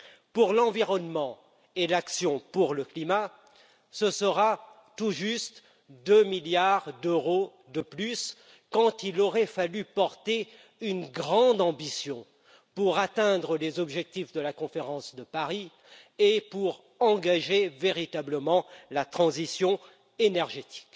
Pour l'environnement et l'action pour le climat, il y aura tout juste deux milliards d'euros de plus alors qu'il aurait fallu se montrer bien plus ambitieux pour atteindre les objectifs de la conférence de Paris et engager véritablement la transition énergétique.